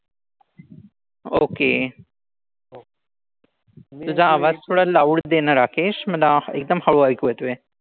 Okay. तुझा आवाज थोडा loud दे ना राकेश. मला एकदम हळू ऐकू येतोय.